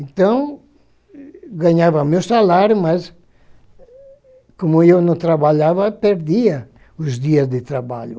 Então, eu ganhava o meu salário, mas como eu não trabalhava, eu perdia os dias de trabalho.